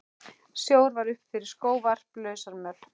Snjór var upp fyrir skóvarp, lausamjöll.